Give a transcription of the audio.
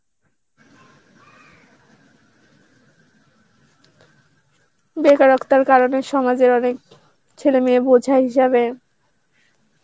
বেকারত্বের কারণে সমাজের অনেক ছেলে মেয়ে বোঝা হিসাবে